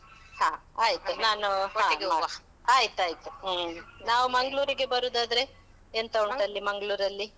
ಹಾ ಆಯ್ತು. ನಾನೂ . ಆಯ್ತಾಯ್ತು, ಹ್ಮ್. ನಾವು ಮಂಗ್ಳೂರಿಗೆ ಬರುವುದಾದ್ರೆ, ಹಾ. ಎಂತ ಉಂಟಲ್ಲಿ ಮಂಗ್ಳೂರಲ್ಲಿ?